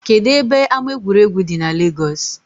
Kedụ ebe ama egwuregwu dị n Legọs?